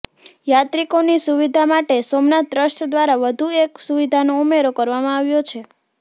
યાત્રિકોની સુવિધા માટે સોમનાથ ટ્રસ્ટ દ્વારા વધુ એક સુવિધાનો ઉમેરો કરવામાં આવ્યો છે